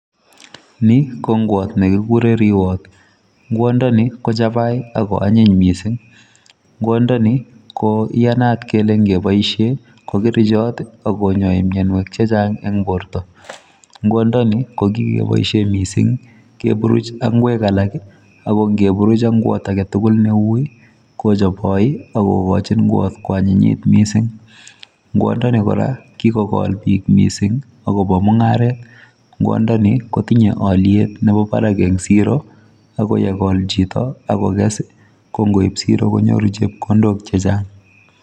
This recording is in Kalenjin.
Ni ko ngwaat ne kikureen riwaat ,ngwaat ndeni ko chapai ako anyiin missing, ngwaak ndeni ko iyanaat kole ingeboisien ko kerchaat ak konyai mianwagik che chaang eng bortoo, ngwaan ndeni kimuchei keburuj ak ngweeg alaak ako ngeburuj ak ngwaat age tugul kochapyi ak igoin ngwaat ko anyinyiit missing ngwaatndeni kora kikogol biik missing che biik che chaang agobo mungaret, ngwaat ndeni kotinyei aliet nebo barak en siroo ako ye kol chitoo ako kees ko ngoib kobwaa siroo akonyoor chepkondook che chaang.